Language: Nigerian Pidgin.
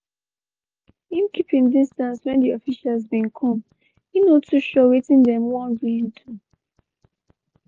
im keep im distance when di officials bin come e no too sure wetin dem wan really do.